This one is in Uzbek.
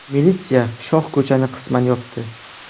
Militsiya shohko‘chani qisman yopdi.